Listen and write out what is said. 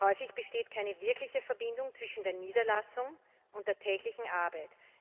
Häufig besteht keine wirkliche Verbindung zwischen der Niederlassung und der täglichen Arbeit.